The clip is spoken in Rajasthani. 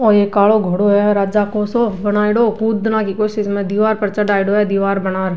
ओ एक कालो घोड़ो है राजा को सो बनायोडो कूदना की कोशिश में दिवार पर चढ़ायोडो है दिवार बनार।